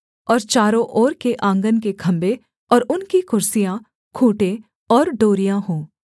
और चारों ओर के आँगन के खम्भे और उनकी कुर्सियाँ खूँटे और डोरियाँ हों